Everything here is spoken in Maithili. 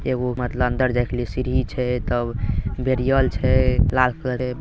एगो मतलब अंदर जाए के लिए सीढ़ी छै तब बेरियल छै लाल कलर के।